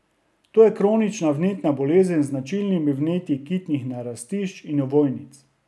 To je kronična vnetna bolezen z značilnimi vnetji kitnih narastišč in ovojnic.